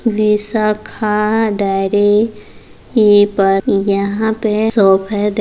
Vishakha dairy ये पे यहां पे शॉप है दिख --